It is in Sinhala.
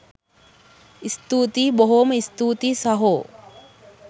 ස්තුතියි බොහොම ස්තූතියි සහෝ